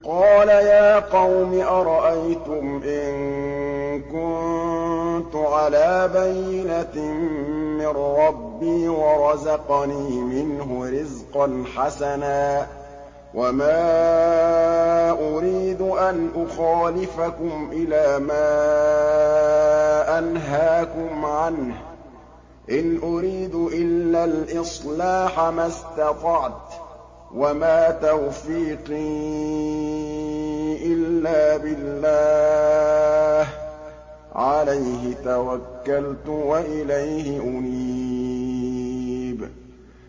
قَالَ يَا قَوْمِ أَرَأَيْتُمْ إِن كُنتُ عَلَىٰ بَيِّنَةٍ مِّن رَّبِّي وَرَزَقَنِي مِنْهُ رِزْقًا حَسَنًا ۚ وَمَا أُرِيدُ أَنْ أُخَالِفَكُمْ إِلَىٰ مَا أَنْهَاكُمْ عَنْهُ ۚ إِنْ أُرِيدُ إِلَّا الْإِصْلَاحَ مَا اسْتَطَعْتُ ۚ وَمَا تَوْفِيقِي إِلَّا بِاللَّهِ ۚ عَلَيْهِ تَوَكَّلْتُ وَإِلَيْهِ أُنِيبُ